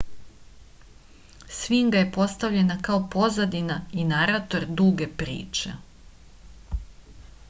sfinga je postavljena kao pozadina i narator duge priče